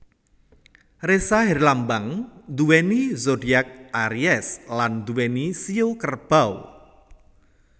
Ressa herlambang nduweni zodiak aries lan nduweni shio Kerbau